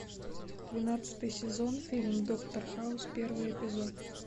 двенадцатый сезон фильм доктор хаус первый эпизод